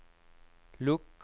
lukk